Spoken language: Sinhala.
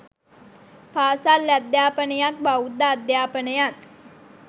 පාසල් අධ්‍යාපනයත් බෞද්ධ අධ්‍යාපනයත්